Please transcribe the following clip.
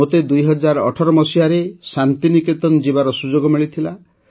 ମୋତେ ୨୦୧୮ ମସିହାରେ ଶାନ୍ତି ନିକେତନ ଯିବାର ସୁଯୋଗ ମିଳିଥିଲା